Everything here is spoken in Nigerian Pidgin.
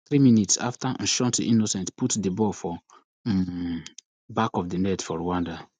three minutes afta nshuti innocent put di ball for um back of di net for rwanda